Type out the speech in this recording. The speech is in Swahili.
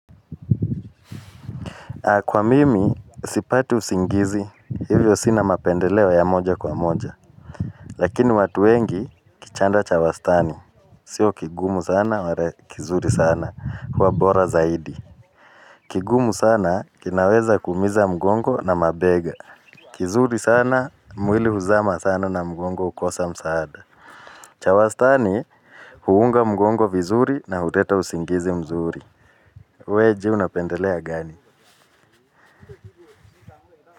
Kwa mimi sipati usingizi hivyo sina mapendeleo ya moja kwa moja. Lakini watu wengi kichanda cha wastani sio kigumu sana wala kizuri sana huwa bora zaidi kigumu sana kinaweza kuumiza mgongo na mabega kizuri sana mwili huzama sana na mgongo hukosa msaada cha wastani huunga mgongo vizuri na huleta usingizi mzuri. We jua unapendelea gani.